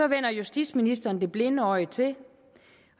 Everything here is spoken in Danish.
vender justitsministeren det blinde øje til